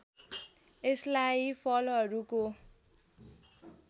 यसलाई फलहरूको